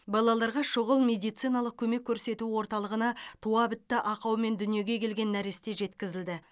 балаларға шұғыл медициналық көмек көрсету орталығына туабітті ақаумен дүниеге келген нәресте жеткізілді